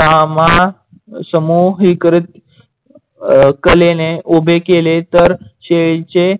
सामासमूहिक कलेने उभे केले तर शेडीचे